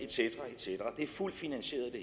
cetera det hele er fuldt finansieret